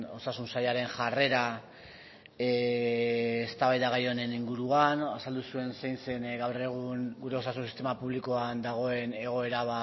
osasun sailaren jarrera eztabaida gai honen inguruan azaldu zuen zein zen gaur egun gure osasun sistema publikoan dagoen egoera